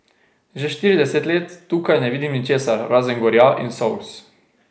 Že štirideset let tukaj ne vidim ničesar, razen gorja in solz.